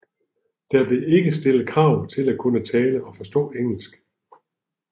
Der blev ikke stillet krav til at kunne tale og forstå engelsk